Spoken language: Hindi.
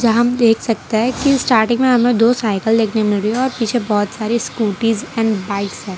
यहां हम देख सकते है की स्टार्टिंग में हमें दो साइकिल देखने मिल रही है और पीछे बहुत सारी स्कूटीज एंड बाइक है।